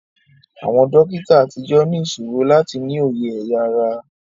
Àwọn dókítà àtijọ́ ní ìṣòro láti ní òye ẹ̀ya ara